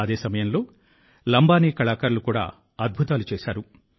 అదే సమయంలో లంబానీ కళాకారులు కూడా అద్భుతాలు చేశారు